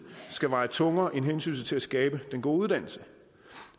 skal veje tungere end hensynet til at skabe den gode uddannelse